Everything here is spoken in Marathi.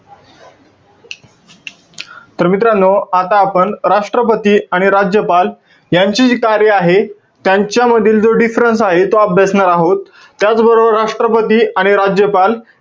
तर मित्रांनो, आता आपण राष्ट्रपती आणि राज्यपाल यांची जी कार्य आहे. त्यांच्यामधील जो difference आहे. तो अभ्यासणार आहोत. त्याचबरोबर राष्ट्रपती आणि राज्यपाल,